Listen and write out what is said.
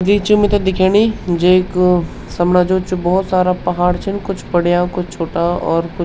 द्वि चिम मिथे दिखेणी जेक समणा जू च बहौत सारा पहाड़ छन कुछ बड़ियाँ कुछ छुट्टा और कुछ --